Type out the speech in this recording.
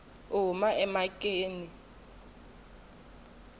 u huma emhakeni loko a